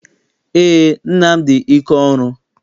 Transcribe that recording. Eé, nna m dị ike ọrụ.